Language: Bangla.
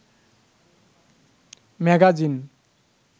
ম্যাগাজিন